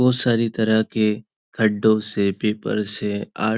बहुत सारी तरह के खड्डों से पेपर से आ --